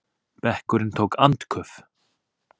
Bekkurinn tók andköf.